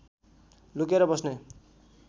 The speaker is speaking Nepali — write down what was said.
लुकेर बस्ने